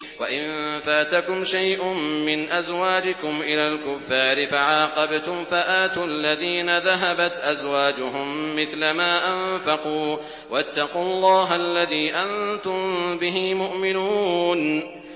وَإِن فَاتَكُمْ شَيْءٌ مِّنْ أَزْوَاجِكُمْ إِلَى الْكُفَّارِ فَعَاقَبْتُمْ فَآتُوا الَّذِينَ ذَهَبَتْ أَزْوَاجُهُم مِّثْلَ مَا أَنفَقُوا ۚ وَاتَّقُوا اللَّهَ الَّذِي أَنتُم بِهِ مُؤْمِنُونَ